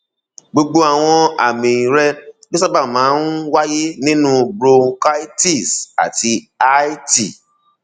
gbogbo àwọn àmì rẹ ló sábà máa ń wáyé nínú bronchitis and lrti